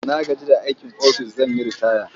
Na gaji da aikin ofis zan yi ritaya.